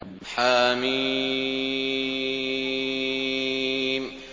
حم